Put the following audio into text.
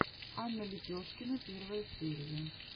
анна лепешкина первая серия